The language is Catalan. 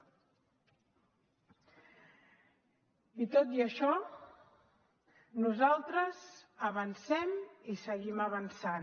i tot i això nosaltres avancem i seguim avançant